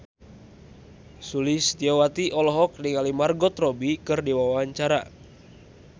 Sulistyowati olohok ningali Margot Robbie keur diwawancara